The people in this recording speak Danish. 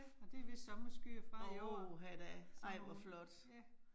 Og det vist sommerskyer frem ad jorden